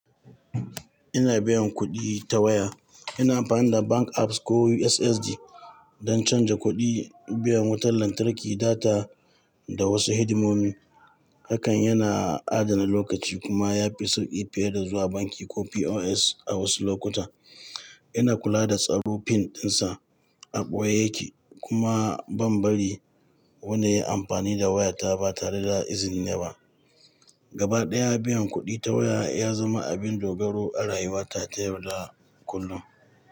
Ina biyan kuɗi ta waya. Ina amfani da bank apps ko USSD don canza kuɗi, biyan wutar lantarki, data da wasu hidimomi. Hakan yana adana lokaci kuma ya fi sauƙi fiye da zuwa banki ko POS a wasu lokuta. Ina kula da tsaro PIN ɗinsa a ɓoye yake kuma ban bari wani ya yi amfani da wayata ba tare da izini na ba. Gabaɗaya, biyan kuɗi ta waya ya zama abin dogaro a rayuwata ta yau da kullum.